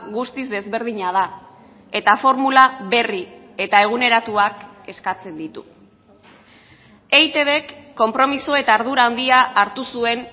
guztiz desberdina da eta formula berri eta eguneratuak eskatzen ditu eitbk konpromiso eta ardura handia hartu zuen